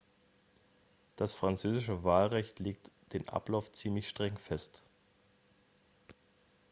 das französische wahlgesetz legt den ablauf ziemlich streng fest